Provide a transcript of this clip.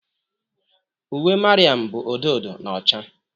Uwe Mariam bụ odo odo na ọcha.